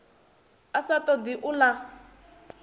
a sa todi u ḽa